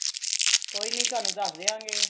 ਕੋਈ ਨਹੀਂ ਤੁਹਾਨੂੰ ਦਾਸ ਦਿਆਂਗੇ